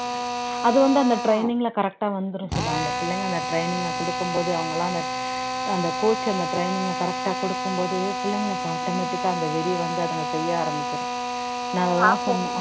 அது வந்து அந்த training ல correct ஆ வந்துரும் சுதா அந்த பிள்ளைங்க அந்த training அ கொடுக்கும் போது அவங்க எல்லாம் அந்த அந்த coach அந்த training அ correct ஆ கொடுக்கும் போது பிள்ளைங்களுக்கு automatic ஆ அந்த வெறி வந்து அதுங்க செய்ய ஆரம்பிச்சிடும் நான் அதைத்தான் சொன்னேன்